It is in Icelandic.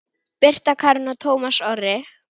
Birta Karen og Tómas Orri.